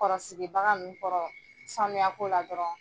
Kɔrɔsigibaga ninnu kɔrɔ sanuyako la dɔrɔn.